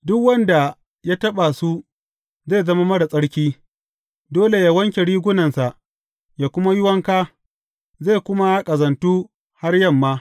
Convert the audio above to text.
Duk wanda ta taɓa su zai zama marar tsarki; dole yă wanke rigunansa yă kuma yi wanka, zai kuma ƙazantu har yamma.